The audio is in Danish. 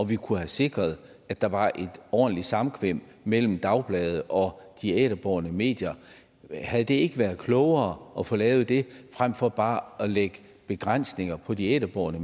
vi kunne have sikret at der var et ordentligt samkvem mellem dagbladene og de æterbårne medier havde det ikke været klogere at få lavet det fremfor bare at lægge begrænsninger på de æterbårne